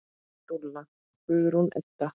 Þín dúlla, Guðrún Edda.